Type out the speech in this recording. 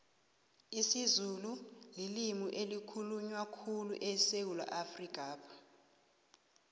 isizulu lilimi elikhulunywa khulyu esewula afrikapha